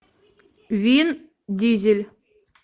вин дизель